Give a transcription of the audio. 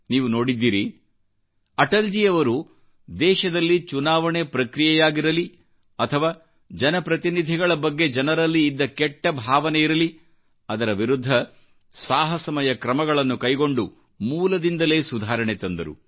ನೀವು ನೋಡಿದ್ದೀರಿಅಟಲ್ಜಿಯವರು ದೇಶದಲ್ಲಿಚುನಾವಣೆ ಪ್ರಕ್ರಿಯೆಯಾಗಿರಲಿ ಅಥವಾ ಜನಪ್ರತಿನಿಧಿಗಳ ಬಗ್ಗೆ ಜನರಲ್ಲಿ ಇದ್ದ ಕೆಟ್ಟ ಭಾವನೆ ಇರಲಿ ಅದರ ವಿರುದ್ಧ ಸಾಹಸಮಯ ಕ್ರಮಗಳನ್ನು ಕೈಗೊಂಡುಮೂಲದಿಂದಲೇ ಸುಧಾರಣೆ ತಂದರು